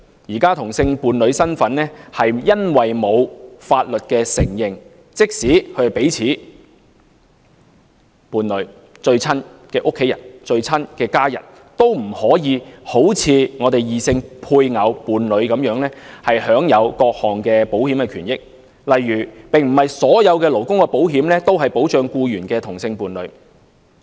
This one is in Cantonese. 目前同志伴侶身份因為未獲法律承認，即使彼此是伴侶、最親密的家人，都不可以好像異性配偶、伴侶般享有各項保險權益，例如並不是所有勞工保險都保障僱員的同性伴侶。